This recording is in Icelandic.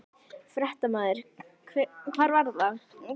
Fréttamaður: Hvar var það?